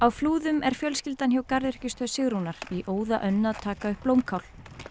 Flúðum er fjölskyldan hjá garðyrkjustöð Sigrúnar í óðaönn að taka upp blómkál